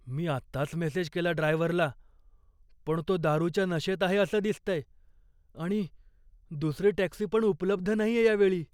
मी आत्ताच मेसेज केला ड्रायव्हरला पण तो दारूच्या नशेत आहे असं दिसतंय आणि दुसरी टॅक्सी पण उपलब्ध नाहीये या वेळी.